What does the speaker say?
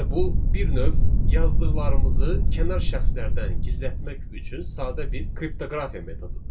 Yəni bu bir növ yazdıqlarımızı kənar şəxslərdən gizlətmək üçün sadə bir kriptoqrafiya metodudur.